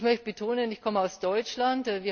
Ich möchte betonen Ich komme aus Deutschland.